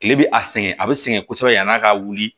Kile bɛ a sɛgɛn a bɛ sɛgɛn kosɛbɛ yan'a ka wuli